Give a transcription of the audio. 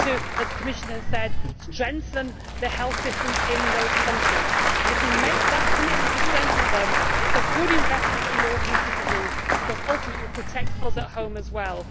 As the Commissioner said, we need to strengthen the health systems in those countries and, if we make that commitment to strengthen them, it is a good investment for European citizens, because ultimately it will protect us at home as well.